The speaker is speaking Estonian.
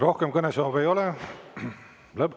Rohkem kõnesoove ei ole.